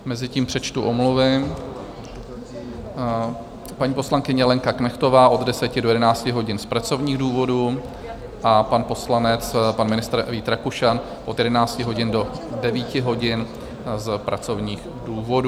Mezitím přečtu omluvy: paní poslankyně Lenka Knechtová od 10 do 11 hodin z pracovních důvodů a pan poslanec, pan ministr Vít Rakušan, od 11 hodin do 21 hodin z pracovních důvodů.